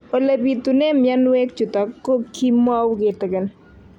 Ole pitune mionwek chutok ko kimwau kitig'�n